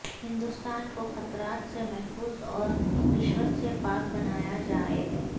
ہندوستان کو خطرات سے محفوظ اور رشوت سے پاک بنایا جائے